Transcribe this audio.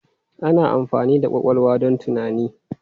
Ana amfani da ƙwaƙwalwa don tunani.